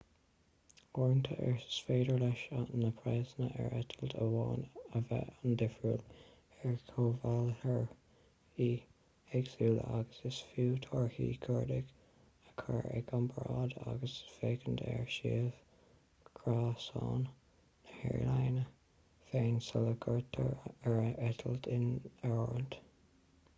uaireanta is féidir leis na praghsanna ar eitilt amháin a bheith an-difriúil ar chomhbhailitheoirí éagsúla agus is fiú torthaí cuardaigh a chur i gcomparáid agus féachaint ar shuíomh gréasáin na haerlíne féin sula gcuirtear an eitilt in áirithint